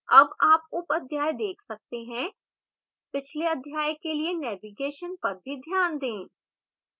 अब आप उपअध्याय देख सकते हैं पिछले अध्याय के लिए navigation पर भी ध्यान दें